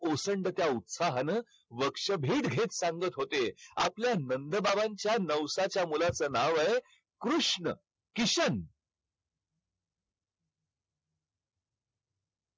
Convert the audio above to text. ओसंडत्या उत्साहानं हेच सांगत होते, आपल्या नंदबाबांच्या नवसाच्या मुलाचं नाव आहे कृष्ण, किशन.